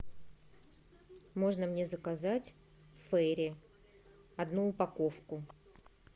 можно мне заказать фейри одну упаковку